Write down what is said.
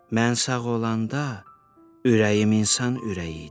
Mən sağ olanda ürəyim insan ürəyi idi,